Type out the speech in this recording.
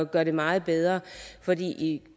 gøre det meget bedre for i